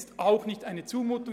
Es ist auch keine Zumutung.